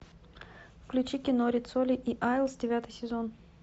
включи кино риццоли и айлс девятый сезон